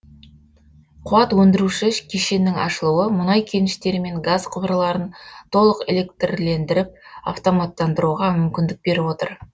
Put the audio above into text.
қуат өндіруші кешеннің ашылуы мұнай кеніштері мен газ құбырларын толық электрлендіріп автоматтандыруға мүмкіндік беріп отыр